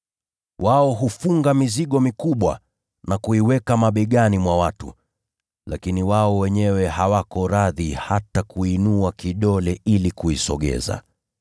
Wao hufunga mizigo mikubwa na kuiweka mabegani mwa watu, lakini wao wenyewe hawako radhi hata kuinua kidole ili kuisogeza.